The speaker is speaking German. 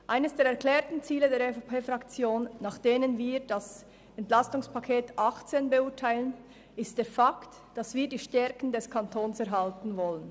Eines der erklärten Ziele der EVP-Fraktion besteht darin, dass wir die Stärken des Kantons erhalten wollen.